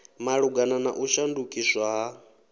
malugana na u shandukiswa ha